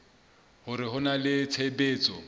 hore ho na le tshebetso